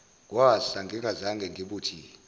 kwasa ngingazange ngibuthi